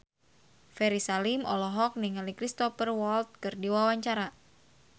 Ferry Salim olohok ningali Cristhoper Waltz keur diwawancara